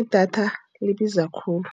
Idatha libiza khulu.